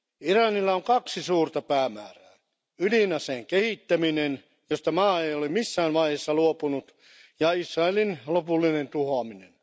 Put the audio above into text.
Iranilla on kaksi suurta päämäärää ydinaseen kehittäminen, josta maa ei ole missään vaiheessa luopunut, ja Israelin lopullinen tuhoaminen.